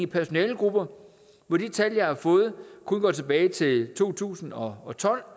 personalegrupper hvor de tal jeg har fået kun går tilbage til to tusind og tolv